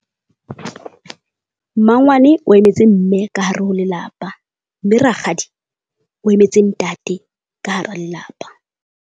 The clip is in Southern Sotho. Mmangwane o emetse mme ka hare ho lelapa, mme rakgadi o emetse ntate ka hara lelapa.